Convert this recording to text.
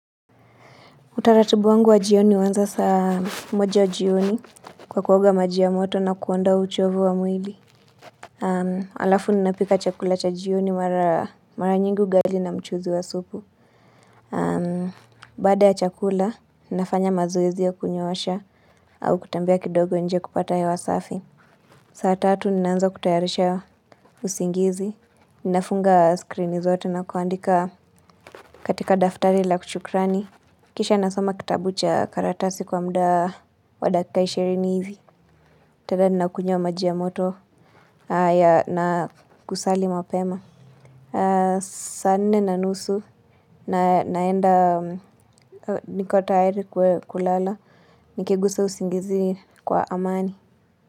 Utaratibu wangu wa jioni uanza saa moja jioni kwa kuoga maji ya moto na kuondoa uchovu wa mwili. Alafu ninapika chakula cha jioni mara nyingi ugali na mchuzi wa supu. Baada ya chakula, ninafanya mazoezi ya kunyoosha au kutembea kidogo nje kupata hewa safi. Saa tatu ninaanza kutayarisha usingizi. Ninafunga skrini zote na kuandika katika daftari la shukrani. Kisha nasoma kitabu cha karatasi kwa muda wa dakika ishirini hivi. Tena ninakunywa maji ya moto na kusali mapema. Saa nne na nusu naenda niko tayari kulala. Nikigusa usingizi kwa amani.